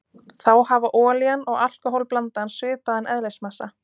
Þá hafa olían og alkóhól-blandan svipaðan eðlismassa.